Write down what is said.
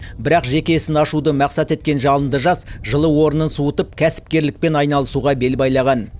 бірақ жеке ісін ашуды мақсат еткен жалынды жас жылы орнын суытып кәсіпкерлікпен айналысуға бел байлаған